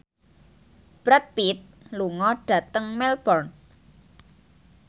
Brad Pitt lunga dhateng Melbourne